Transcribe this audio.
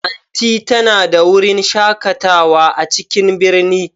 Aunty ta na da wurin shakatawa a cikin birni.